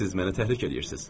Siz məni təhrik eləyirsiz.